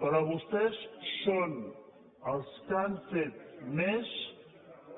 però vostès són els que han fet més